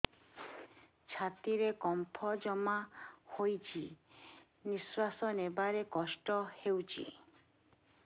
ଛାତିରେ କଫ ଜମା ହୋଇଛି ନିଶ୍ୱାସ ନେବାରେ କଷ୍ଟ ହେଉଛି